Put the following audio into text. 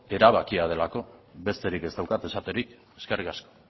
erabakia delako besterik ez daukat esaterik eskerrik asko